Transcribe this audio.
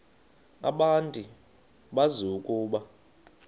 abantu bazi ukuba